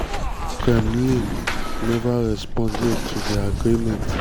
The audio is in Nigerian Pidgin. kremlin never respond yet to di agreement.